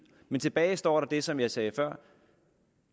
men tilbage står der det som jeg sagde før